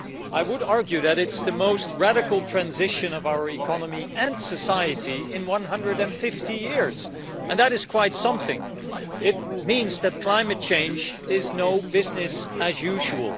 I would argue that it's the most radical transition of our economy and society in 150 years, and that is quite something. It means that climate change is not business as usual.